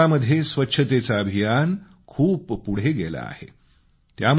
सबरीमालामध्ये स्वच्छतेचं अभियान खूप पुढं गेलं आहे